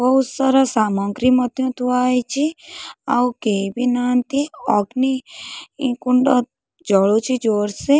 ବୋହୁ ସାରା ସାମଗ୍ରୀ ମଧ୍ୟ ଥୁଆ ହୋଇଚି ଆଉ କେଇବି ନାହାନ୍ତି ଅଗ୍ନି କୁଣ୍ଡ ଜଳୁଚି ଜୋର୍ସେ --